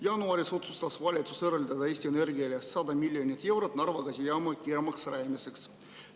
Jaanuaris otsustas valitsus eraldada Eesti Energiale 100 miljonit eurot Narva gaasijaama kiiremaks rajamiseks.